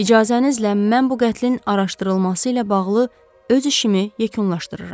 İcazənizlə mən bu qətlin araşdırılması ilə bağlı öz işimi yekunlaşdırıram.